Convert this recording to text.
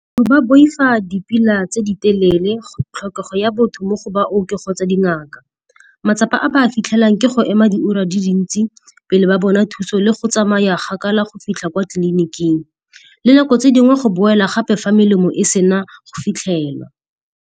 Ba boifa dipila tse di telele, tlhokego ya botho mo go baoki kgotsa dingaka. Matsapa a ba a fitlhelang ke go ema diura di le dintsi pele ba bona thuso le go tsamaya kgakala go fitlha kwa tleliniking, le nako tse dingwe go boela gape fa melemo e sena go fitlhelwa.